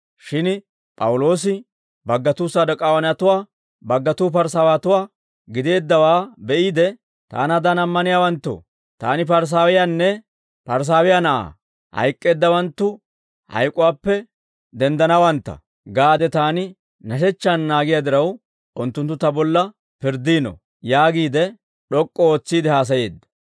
Shin P'awuloosi baggatuu Saduk'aawanatuwaa; baggatuu Parisaawatuwaa gideeddawaa be'iide, «Taanaadan ammaniyaawanttoo, taani Parisaawiyaanne Parisaawiyaa na'aa; ‹Hayk'k'eeddawanttu hayk'uwaappe denddanawantta› gaade taani nashechchaan naagiyaa diraw, unttunttu ta bolla pirddiino» yaagiide, d'ok'k'u ootsiide haasayeedda.